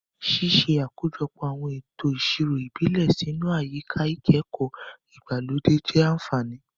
Ṣíṣe àkójọpọ̀ àwọn ètò ìṣirò ìbílẹ̀ sínú àyíká ìkẹ́kọ̀ọ́ ìgbàlódé jẹ́ àfààní.